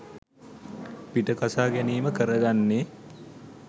පිට කසා ගැනීම කරගන්නේ.